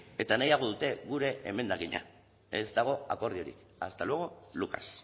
eta nahiago dute gure emendakina ez dago akordiorik hasta luego lucas